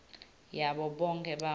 yabo bonkhe bantfu